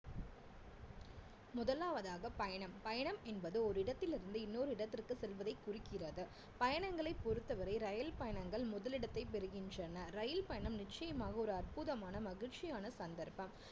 முதலாவதாக பயணம் பயணம் என்பது ஒரு இடத்திலிருந்து இன்னொரு இடத்திற்கு செல்வதை குறிக்கிறது பயணங்களை பொறுத்தவரை ரயில் பயணங்கள் முதலிடத்தை பெறுகின்றன ரயில் பயணம் நிச்சயமாக ஒரு அற்புதமான மகிழ்ச்சியான சந்தர்ப்பம்